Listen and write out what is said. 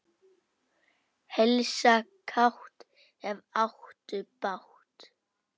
Heilsa kátt, ef áttu bágt.